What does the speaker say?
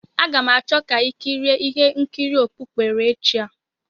A ga m achọ ka i kirie ihe nkiri okpukperechi a.